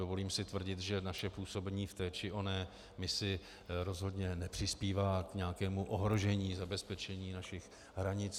Dovolím si tvrdit, že naše působení v té či oné misi rozhodně nepřispívá k nějakému ohrožení zabezpečení našich hranic.